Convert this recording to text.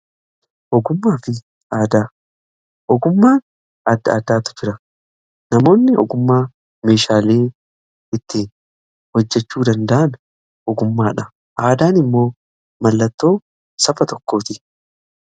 Ogummaaa fi aadaa, ogummaan adda addaatu jira namoonni ogummaa meeshaalee itti hojjechuu danda'an ogummaadha. Aadaan immoo mallattoo saba tokkooti.